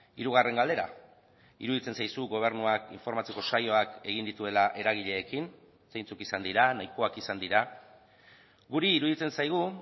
hirugarren galdera iruditzen zaizu gobernuak informatzeko saioak egin dituela eragileekin zeintzuk izan dira nahikoak izan dira guri iruditzen zaigu